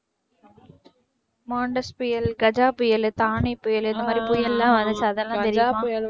மான்டெஸ் புயல், கஜா புயல், தானே புயல் இந்த மாதிரி புயல்லாம் வந்துச்சு அதெல்லாம் தெரியுமா?